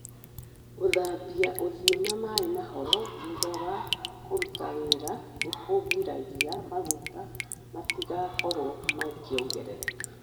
Gũthambia ũthiũ na maĩ mahoro thutha wa kũruta wĩra nĩ kũgiragia maguta matigakorũo makĩongerereka.